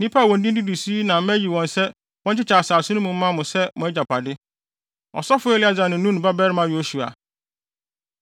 “Nnipa a wɔn din didi so yi na mayi wɔn sɛ wɔnkyekyɛ asase no mu mma mo sɛ mo agyapade: Ɔsɔfo Eleasar ne, Nun babarima Yosua.